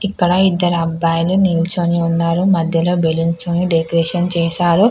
ఇక్కడ ఇద్దరు అబ్బాయిలు నిలిచి ఉన్నారు మధ్యలోని బెలూన్స్ తోని చేశారు